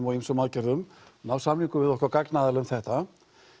og ýmsum aðgerðum ná samningum við okkar gagnaðila um þetta